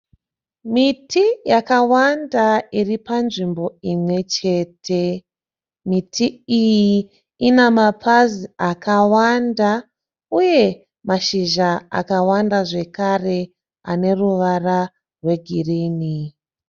Miti yakawanda iri panzvimbo imwe chete. Miti iyi ina mapazi akawanda uye mashizha akawanda zvekare ane ruvara rwegirinhi.